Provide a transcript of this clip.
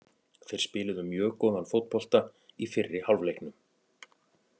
Þeir spiluðu mjög góðan fótbolta í fyrri hálfleiknum.